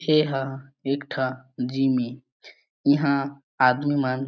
एहा एक ठा जिम ऐ इहा आदमी मन--